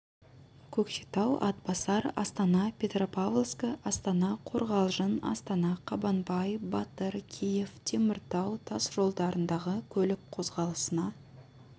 көкшетау атбасар астана петропавловскі астана қорғалжын астана қабанбай батыр киев теміртау тас жолдарындағы көлік қозғалысына